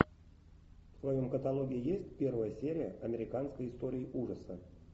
в твоем каталоге есть первая серия американской истории ужасов